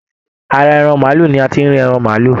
Ará maálù ní a tí rí ẹran maálù.